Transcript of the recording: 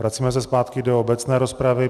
Vracíme se zpátky do obecné rozpravy.